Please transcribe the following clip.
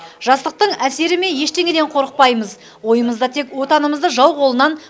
жастықтың әсері ме ештеңеден қорықпаймыз ойымызда тек отанымызды жау қолынан